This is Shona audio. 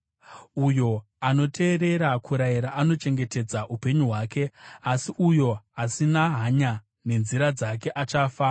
Uyo anoteerera kurayira anochengetedza upenyu hwake, asi uyo asina hanya nenzira dzake achafa.